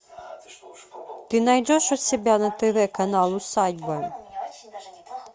ты найдешь у себя на тв канал усадьба